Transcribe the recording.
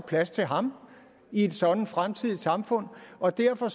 plads til ham i et sådant fremtidigt samfund og derfor